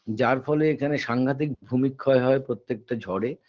যার ফলে এখানে সাংঘাতিক ভূমিক্ষয় হয় প্রত্যেকটা ঝড়ে